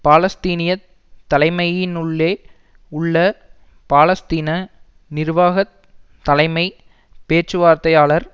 பாலஸ்தீனியத் தலைமையினுள்ளே உள்ள பாலஸ்தீன நிர்வாக தலைமை பேச்சுவார்த்தையாளர்